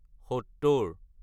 সত্তৰ